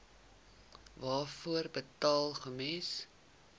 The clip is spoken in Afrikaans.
waarvoor betaal gems